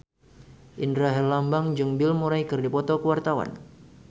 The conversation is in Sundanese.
Indra Herlambang jeung Bill Murray keur dipoto ku wartawan